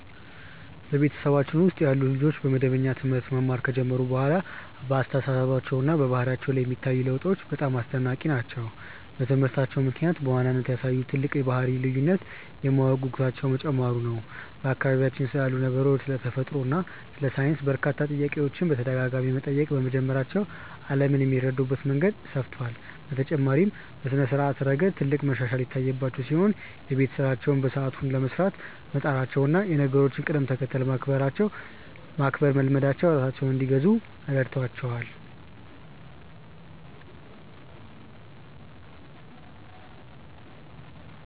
በቤተሰባችን ውስጥ ያሉ ልጆች መደበኛ ትምህርት መማር ከጀመሩ በኋላ በአስተሳሰባቸውና በባህሪያቸው ላይ የሚታዩት ለውጦች በጣም አስደናቂ ናቸው። በትምህርታቸው ምክንያት በዋናነት ያሳዩት ትልቅ የባህሪ ልዩነት የማወቅ ጉጉታቸው መጨመሩ ነው፤ በአካባቢያቸው ስላሉ ነገሮች፣ ስለ ተፈጥሮ እና ስለ ሳይንስ በርካታ ጥያቄዎችን በተደጋጋሚ መጠየቅ በመጀመራቸው ዓለምን የሚረዱበት መንገድ ሰፍቷል። በተጨማሪም በስነ-ስርዓት ረገድ ትልቅ መሻሻል የታየባቸው ሲሆን፣ የቤት ስራቸውን በሰዓቱ ለመስራት መጣራቸውና የነገሮችን ቅደም-ተከተል ማክበር መልመዳቸው ራሳቸውን እንዲገዙ ረድቷቸዋል።